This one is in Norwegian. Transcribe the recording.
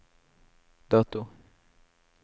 dato